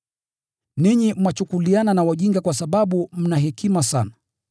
Ninyi mwachukuliana na wajinga kwa sababu mna hekima sana!